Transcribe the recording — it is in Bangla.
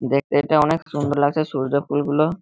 দেখতে এটা অনেক সুন্দর লাগছে সূর্য ফুলগুলো --